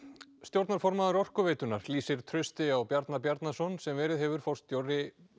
stjórnarformaður Orkuveitunnar lýsir trausti á Bjarna Bjarnason sem verið hefur forstjóri